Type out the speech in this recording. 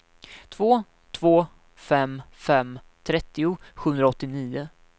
två två fem fem trettio sjuhundraåttionio